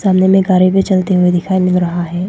सामने में कारें भी चलती हुई दिखाई मिल रहा है।